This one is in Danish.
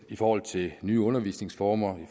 i forhold til nye undervisningsformer